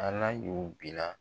ALA y'o bila.